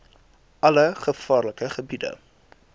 alle gevaarlike gebiede